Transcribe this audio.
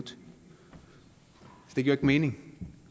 nitten